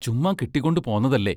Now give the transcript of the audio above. ചുമ്മാ കെട്ടിക്കൊണ്ടു പോന്നതല്ലേ!